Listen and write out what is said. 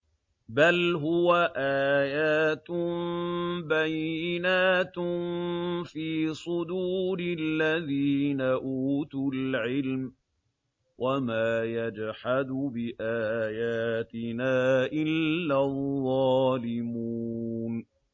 بَلْ هُوَ آيَاتٌ بَيِّنَاتٌ فِي صُدُورِ الَّذِينَ أُوتُوا الْعِلْمَ ۚ وَمَا يَجْحَدُ بِآيَاتِنَا إِلَّا الظَّالِمُونَ